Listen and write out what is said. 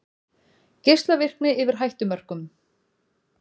Geislavirkni yfir hættumörkum